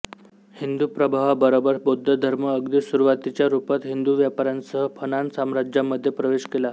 हिंदू प्रभावाबरोबर बौद्ध धर्म अगदी सुरूवातीच्या रूपात हिंदू व्यापाऱ्यांसह फनान साम्राज्यामध्ये प्रवेश केला